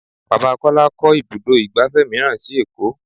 Bàbá Kọ́lá kó ibùdó igbàfẹ́ mìíràn sì èkó.